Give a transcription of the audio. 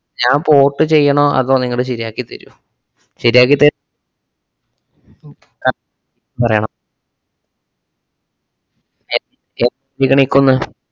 ഞാൻ port ചെയ്യണോ അതോ നിങ്ങള് ശെരിയാക്കിത്തര്വോ? ശെരിയാക്കിത്ത~ ഉം ആ പറയണം ഏർ ക്കുന്നെ